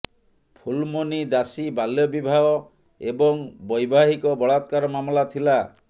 ଫୁଲମୋନୀ ଦାସୀ ବାଲ୍ୟ ବିବାହ ଏବଂ ବୈବାହିକ ବଳାତ୍କାର ମାମଲା ଥିଲା